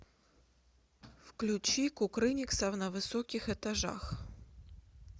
включи кукрыниксов на высоких этажах